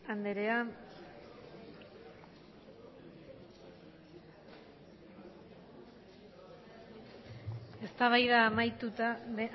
anderea eztabaida